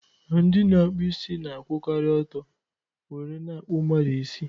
Ndị na-akpụ isi na-akwukari ọtọ were n' akpu mmadu isi